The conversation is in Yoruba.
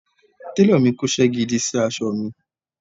Télọ̀ mi kóṣẹ́ gidi sí aṣọ mi